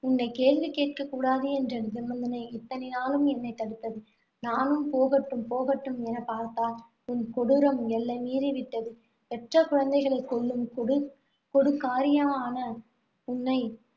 உன்னைக் கேள்வி கேட்கக்கூடாது என்ற நிபந்தனை இத்தனை நாளும் என்னைத் தடுத்தது. நானும் போகட்டும், போகட்டும் என பார்த்தால், உன் கொடூரம் எல்லை மீறி விட்டது. பெற்ற குழந்தைகளைக் கொல்லும் கொடு~ கொடுக்காரியான உன்னை